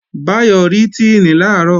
Báyọ̀ rí Tíìnì làárọ̀